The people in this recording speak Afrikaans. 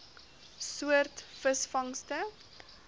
soort visvangste